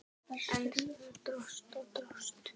En það dróst og dróst.